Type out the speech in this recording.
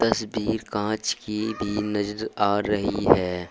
तस्वीर कांच की भी नजर आ रही है।